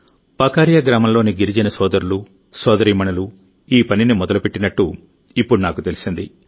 పకరియా గ్రామంలోని గిరిజన సోదరులు సోదరీమణులు ఈ పనిని మొదలుపెట్టినట్టు ఇప్పుడు నాకు తెలిసింది